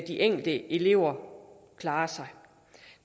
de enkelte elever klarer sig